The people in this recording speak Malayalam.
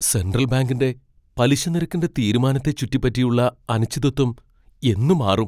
സെൻട്രൽ ബാങ്കിന്റെ പലിശനിരക്കിന്റെ തീരുമാനത്തെ ചുറ്റിപ്പറ്റിയുള്ള അനിശ്ചിതത്വം എന്ന് മാറും?